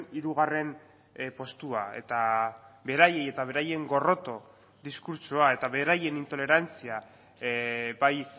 hirugarren postua eta beraiei eta beraien gorroto diskurtsoa eta beraien intolerantzia bai